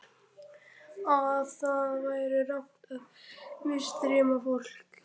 Að það væri rangt að misþyrma fólki.